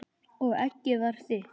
Og eggið var þitt!